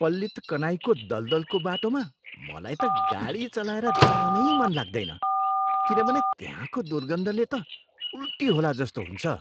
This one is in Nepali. पल्लितकनाईको दलदलको बाटोमा मलाई त गाडी चलाएर जानै मन लाग्दैन किनभने त्यहाँको दुर्गन्धले त उल्टी होला जस्तो हुन्छ।